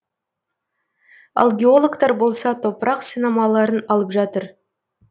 ал геологтар болса топырақ сынамаларын алып жатыр